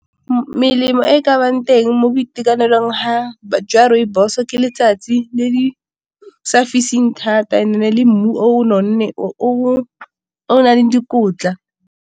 Melemo e ka nnang teng mo boitekanelong jwa rooibos ke letsatsi le sa fising thata, le mmu o nonne o nang le dikotla.